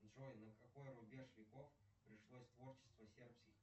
джой на какой рубеж веков пришлось творчество сербских